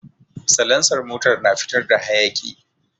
Salansar motar na fitar da hayaki